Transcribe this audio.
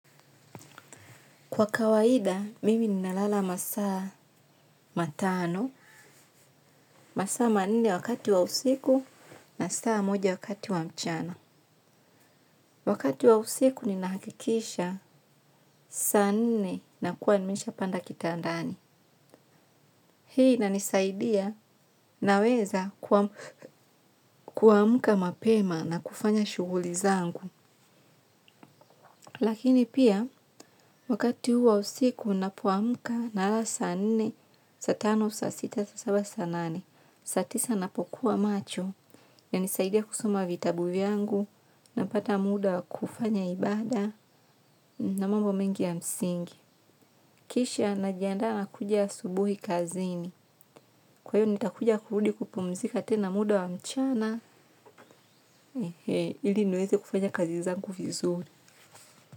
Kwa kawaida, mimi ninalala masaa matano, masaa manne wakati wa usiku na saa moja wakati wa mchana. Wakati wa usiku nina hakikisha saa nne na kuwa nimesha panda kitandani. Hii inanisaidia naweza kuamka mapema na kufanya shughuli zangu. Lakini pia, wakati huu wa usiku unapuamuka nalala saa nne, saa tano, saa sita, saa saba, saa nane, saa tisa napokuwa macho, inanisaidia kusoma vitabu vyangu, napata muda wa kufanya ibada na mambo mengi ya msingi. Kisha najandaa kuja asubuhi kazini, kwa hiyo nitakuja kurudi kupumzika tena muda wa mchana, ili niweze kufanya kazi zangu vizuri.